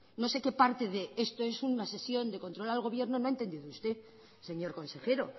no sé que parte de esto es una sesión de control al gobierno no ha entendido usted señor consejero